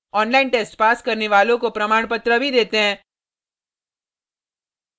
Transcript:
online test pass करने वालों को प्रमाणपत्र भी देते हैं